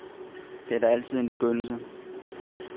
Det var da altid en begyndelse.